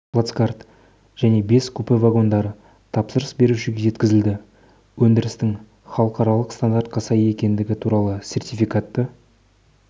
плацкарт және бес купе вагондары тапсырыс берушіге жеткізіледі өндірістің халықаралық стандартқа сай екендігі туралы сертификатты